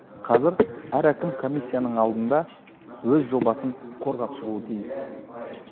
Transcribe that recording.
қазір әр әкім комиссияның алдында өз жобасын қорғап шығуы тиіс